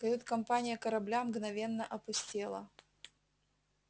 кают-компания корабля мгновенно опустела